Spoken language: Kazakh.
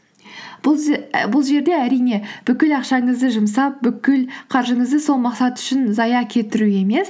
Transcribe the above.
бұл жерде әрине бүкіл ақшаңызды жұмсап бүкіл қаржыңызды сол мақсат үшін зая кетіру емес